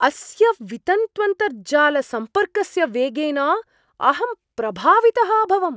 अस्य वितन्त्वन्तर्जालसम्पर्कस्य वेगेन अहं प्रभावितः अभवम्।